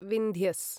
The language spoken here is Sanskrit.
विन्ध्यस्